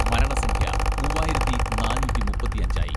മരണസംഖ്യ മൂവായിരത്തി നാനൂറ്റി മുപ്പത്തിയഞ്ചായി.